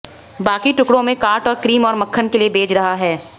बाकी टुकड़ों में काट और क्रीम और मक्खन के लिए भेज रहा है